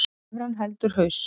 Evran heldur haus